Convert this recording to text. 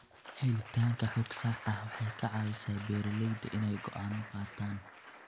Helitaanka xog sax ah waxay ka caawisaa beeralayda inay go'aano qaataan.